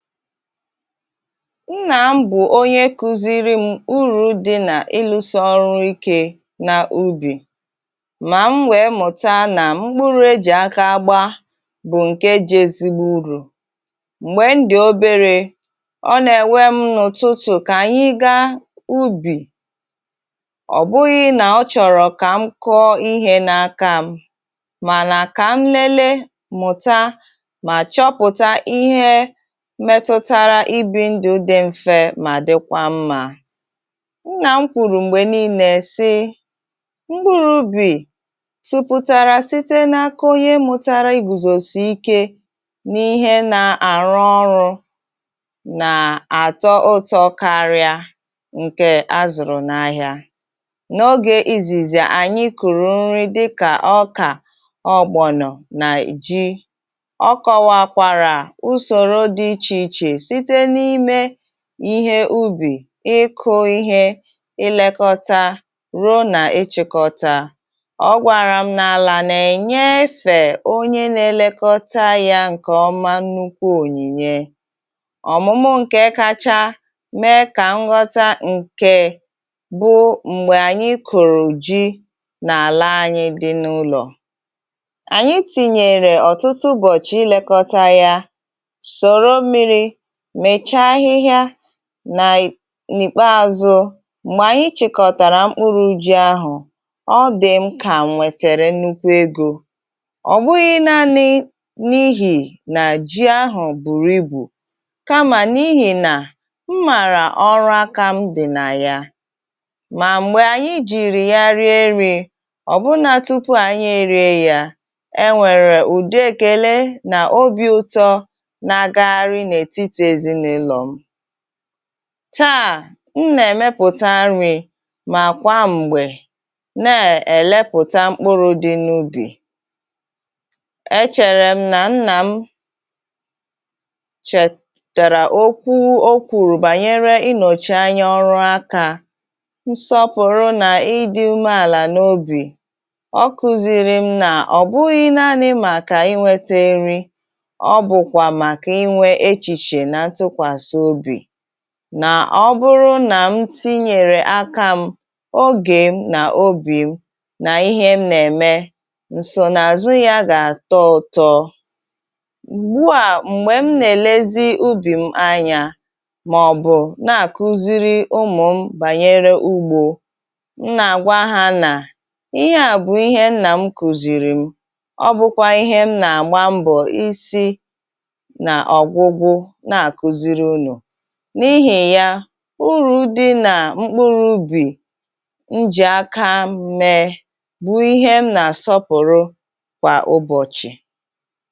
Nnà m bụ onye kùziri m urù dị nà ịlụsa ọrụ ikè nà ubì, mà m nwèe mụta nà mkpụrụ ejì aka agba bụ ǹkè ji èzigbo ùrù. M̀gbè m dị obere, ọ nà-enwe m n’ụtụtụ kà anyị gaa ubì; ọ bụghị nà ọ chọrọ kà m kọọ ihe n’aka m, màna kà m lelee, mụta mà chọpụta ihe metụtara ịbi ndụ dị mfe mà dịkwa mma. Nnà m kwùrù mgbè niile si mkpụrụ ubì tụpụtàrà site n’aka ọnye mụtàrà igùzòsi ike n’ihe nà-àrụ ọrụ nà-àtọ ụtọ karị ǹkè azụrụ n’ahịa. N’ogè izìzì, ànyị kụrụ nrị dịkà ọkà, ọgbọ̀nọ nà iji, ọ kọwara usọrọ dị ịche ịche site n'ime ihe ubì, ịkụ ihe, ilèkọta, ruo nà ịchịkọta; ọgwàrà m n’àlà nà-enye efè onye nà-elekọta ya ǹkè ọma nnukwu ònyìnye. Ọmụmụ ǹkè kacha mee kà nghọta nke bụ m̀gbè ànyị kụrụ ji nà àlà anyị dị n’ụlọ; ànyị tinyèrè ọ̀tụtụ ụbọchì ilèkọta ya, sọrọ mmiri mecha ahịhịa nà n'ìkpaázụ. M̀gbè ànyị chịkọtàrà mkpụrụ ji ahụ, ọ dị m kà m nwètèrè nnukwu egọ, ọ bụghị naanị n’ihì nà ji ahụ bùrụ ibụ, kamà n’ihì nà m mààrà ọrụ aka m dị nà yà. Mà m̀gbè ànyị jìrì ya rìe nrì, ọ bụna tụpụ ànyị erie yà, e nwèrè ùdị èkèle nà ọ̀bi ụtọ̀ nà-agaghari n'etiti ezinaụlọ. Taa, na-èmepụta nrì màkwa m̀gbè na-elepụta mkpụrụ dị n’ubì. Èchèrè m nà nnà m chètàrà okwu okwùrù bànyere inọchi anya ọrụ aka, nsọpụrụ nà ịdị umeàlà n’obì; ọ kùziri m nà ọ bụghị naanị màkà inweta nrị, ọ bukwa màka inwe echiche na ntụkwasi ọbi na ọ bụrụ nà m tinyèrè aka m, ogè m nà obì m nà ihe m nà-ème, ǹsònàzụ yà gà-àtọ ụtọ. Gwụo à, m̀gbè m nà-elezi ubì m anyà mà ọ bụ nàà kùziri ụmụ m bànyere ugbọ, m nà-agwa ha nà ihe à bụ ihe m nà m kùzìrì m; ọ bụkwa ihe m nà-agba mbọ isi na-ogwụgwụ na-akùziri nụ n’ihì ya urù dị nà mkpụrụ ubì njì aka mee bụ ihe m nà-àsọpụrụ kwà ụbọchì.